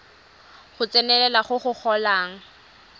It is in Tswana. go tsenelela go go golang